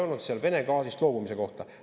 – ei olnud seal Vene gaasist loobumise kohta.